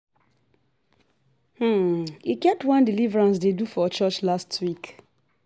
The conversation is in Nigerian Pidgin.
E get one deliverance dey do for church last week